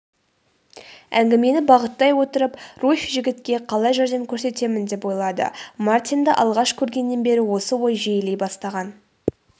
әңгімені бағыттай отырып руфь жігітке қалай жәрдем көрсетемін деп ойлады мартинді алғаш көргеннен бері осы ой жиілей бастаған